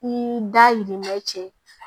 Ni da yir'i ma cɛ